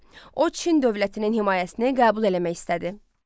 O Çin dövlətinin himayəsini qəbul eləmək istədi.